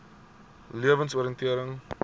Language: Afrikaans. lewensoriëntering